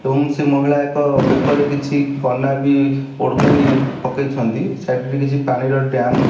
ଏବଂ ସେ ମହିଳା ଏକ ବେକରେ କିଛି କନା ବି ଓଢ଼ଣୀ ପକେଇଛନ୍ତି ସାଇଡ ରେ କିଛି ପାଣିର ଡ଼୍ୟାମ --